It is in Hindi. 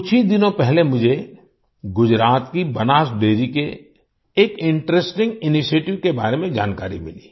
कुछ ही दिनों पहले मुझे गुजरात की बनास डेयरी के एक इंटरेस्टिंग इनिशिएटिव के बारे में जानकारी मिली